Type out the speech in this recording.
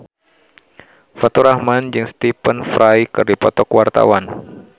Faturrahman jeung Stephen Fry keur dipoto ku wartawan